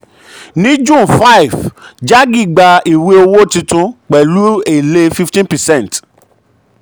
ní june um five jaggi gba ìwé owó tuntun pẹ̀lú èlé pẹ̀lú èlé fifteen percent um